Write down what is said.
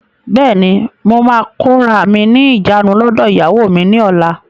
Bẹ́ẹ̀ni, mo máa kóra mí ní ìjánu lọdọ ìyàwó mi ni ọ̀la.